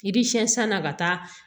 I bi sɛn san na ka taa